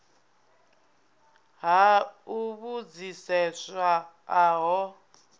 ha u vhudziseswa a ho